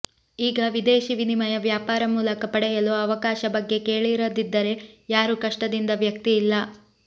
ಈಗ ವಿದೇಶೀ ವಿನಿಮಯ ವ್ಯಾಪಾರ ಮೂಲಕ ಪಡೆಯಲು ಅವಕಾಶ ಬಗ್ಗೆ ಕೇಳಿರದಿದ್ದರೆ ಯಾರು ಕಷ್ಟದಿಂದ ವ್ಯಕ್ತಿ ಇಲ್ಲ